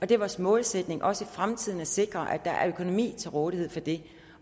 det er vores målsætning også i fremtiden at sikre at der er økonomi til rådighed for det